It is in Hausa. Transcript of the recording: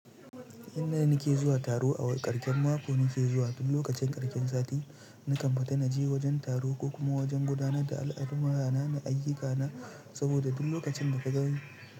Inda ni ke zuwa taro a ƙarƙen mako, ni ke zuwa duk lokacin ƙarƙen sati. Ni kan fita naje wajen taro ko kuma wajen gudanar da al'amura na ayyuka na, saboda duk lokacin da ka gani.